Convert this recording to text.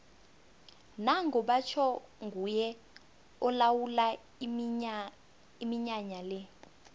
nango batjho nguye olawula iminyanya le